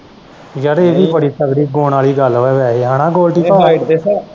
ਯਾਰ ਇਹ ਵੀ ਬੜੀ ਤਗੜੀ ਗਾਉਣ ਵਾਲੀ ਗੱਲ ਆ ਨਾ ਵੈਸੇ ਗੋਲਡੀ ਭਾਅ height ਦੇ ਸਾ।